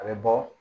A bɛ bɔ